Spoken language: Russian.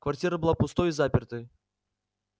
квартира была пустой и запертой